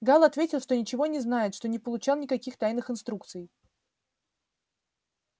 гаал ответил что ничего не знает что не получал никаких тайных инструкций